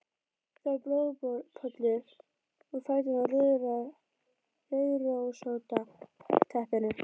Það var blóðpollur úr fætinum á rauðrósótta teppinu.